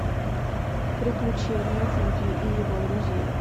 приключения вуди и его друзей